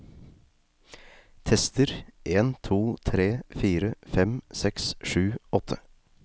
Tester en to tre fire fem seks sju åtte